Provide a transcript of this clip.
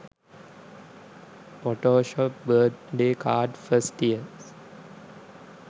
photoshop birth day card first years